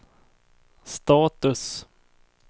status